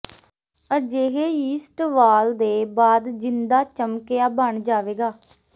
ਅਜਿਹੇ ਯੀਸਟ ਵਾਲ ਦੇ ਬਾਅਦ ਜਿੰਦਾ ਚਮਕਿਆ ਬਣ ਜਾਵੇਗਾ